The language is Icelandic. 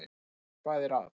Og hvað er að?